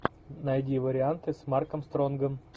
найди варианты с марком стронгом